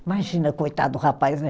Imagina, coitado do rapaz, né?